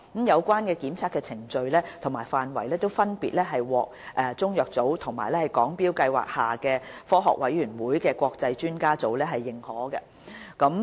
有關檢測的程序和範圍分別獲中藥組和香港中藥材標準計劃下科學委員會的國際專家委員會認可。